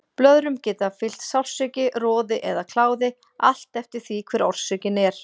Blöðrum geta fylgt sársauki, roði eða kláði, allt eftir því hver orsökin er.